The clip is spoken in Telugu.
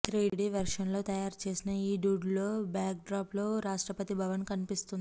త్రిడీ వెర్షన్లో తయారు చేసిన ఈ డూడుల్లో బ్యాక్ డ్రాప్లో రాష్ట్రపతి భవన్ కనిపిస్తుంది